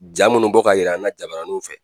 Ja minnu bɔ k'a yir'an na jabaraniw fɛ,